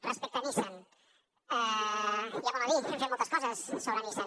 respecte a nissan hi ha molt a dir hem fet moltes coses sobre nissan